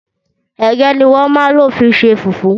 Ẹ̀gẹ́ ni wọ́n ma n lo fi ṣe fùfú.